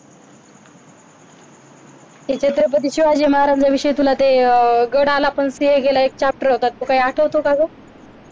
श्री छत्रपती शिवाजी महाराजांच्या विषयी तुला ते गड आला पण सिंह गेला एक chapter होता तो काही आठवतो का ग